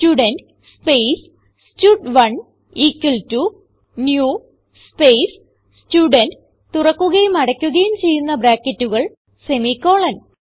student space സ്റ്റഡ്1 equal to new space student തുറക്കുകയും അടയ്ക്കുകയും ചെയ്യുന്ന ബ്രാക്കറ്റുകൾ സെമിക്കോളൻ